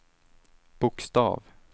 bokstav